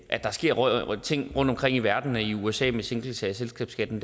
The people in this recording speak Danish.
at der sker ting rundtomkring i verden og i usa med sænkelse af selskabsskatten